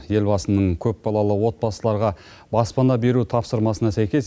елбасының көпбалалы отбасыларға баспана беру тапсырмасына сәйкес